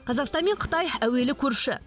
қазақстан мен қытай әуелі көрші